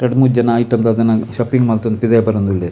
ರಡ್ಡ್ ಮೂಜಿ ಐಟಮ್ ದಾದನ ಶಪ್ಪಿಂಗ್ ಮಲ್ತೊಂದು ಪಿದಯ್ ಬರೊಂದು ಉಲ್ಲೆರ್.